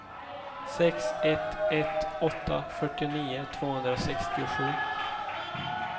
sex ett ett åtta fyrtionio tvåhundrasextiosju